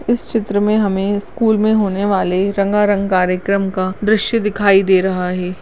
इस चित्र मे हमे स्कूल में होने वाला रंगा रंगा कार्यक्रम का दृश्य दिखाई दे रहा हैं।